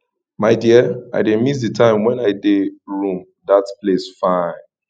my dear i dey miss the time wen i dey rome dat place fine